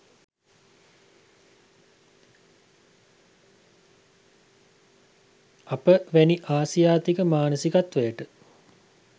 අප වැනි ආසියාතික මානසිකත්වයට